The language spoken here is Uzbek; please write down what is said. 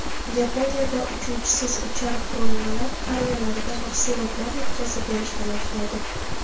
Yaponiyada uchuvchisiz uchar qurilmalar qariyalarga mahsulotlar yetkazib berishni boshlaydi.